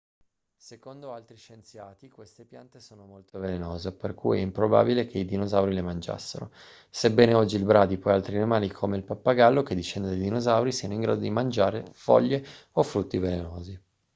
secondo altri scienziati queste piante sono molto velenose per cui è improbabile che i dinosauri le mangiassero sebbene oggi il bradipo e altri animali come il pappagallo che discende dai dinosauri siano in grado di mangiare foglie o frutti velenosi